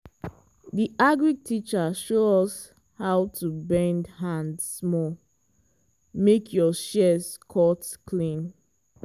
di agric teacher show us how to bend hand small make your shears cut clean.